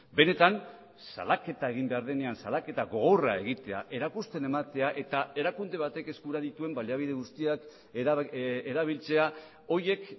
benetan salaketa egin behar denean salaketa gogorra egitea erakusten ematea eta erakunde batek eskura dituen baliabide guztiak erabiltzea horiek